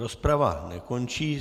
Rozprava nekončí.